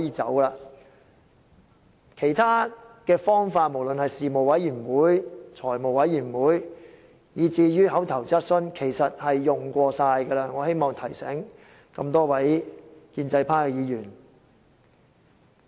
至於其他方法，無論是事務委員會、財務委員會，以至口頭質詢，其實已經全部使用過了；我希望提醒這麼多位建制派議員。